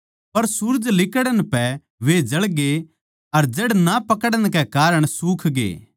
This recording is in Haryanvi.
पर सूरज लिकड़णै पै वे जळगे अर जड़ ना पकड़न कै कारण सुखगे